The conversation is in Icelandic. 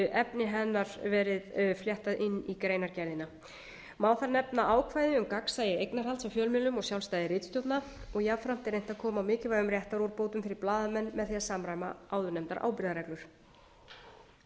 efni hennar verið fléttað inn í greinargerðina má þar nefna ákvæði um gagnsæi eignarhalds á fjölmiðlum og sjálfstæði ritstjórnar og jafnframt er reynt að koma á mikilvægum réttarúrbótum fyrir blaðamenn með því að samræma áðurnefndar ábyrgðarreglur en þær snúast til að mynda